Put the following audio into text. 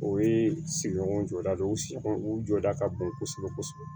O ye sigiɲɔgɔn jɔda de ye u sigiɲɔgɔnw u jɔda ka bon kosɛbɛ kosɛbɛ